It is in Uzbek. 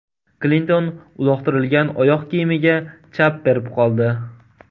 Klinton uloqtirilgan oyoq kiyimiga chap berib qoldi.